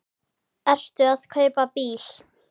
Ertu að kaupa bíl?